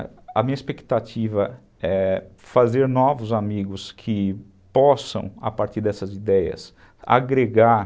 A minha expectativa é fazer novos amigos que possam, a partir dessas ideias, agregar...